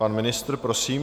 Pan ministr, prosím.